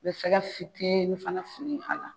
I bɛ sɛgɛ fitini fana fili a la.